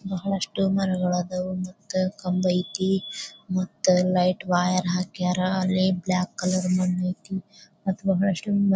ಬಹಳಷ್ಟು ಮರಗಳು ಅದವು ಮತ್ತೆ ಕಂಬ ಐತೆ ಮತ್ತೆ ಲೈಟ್ವೈರ್ ಹಾಕರಾ ಮತ್ತೆ ಬ್ಲಾಕ್ ಕಲರ್ ಮಣ್ಣು ಐತಿ .]